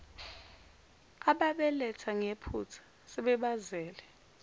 ababaletha ngephutha sebebazele